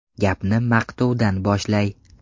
Gapni maqtovdan boshlay.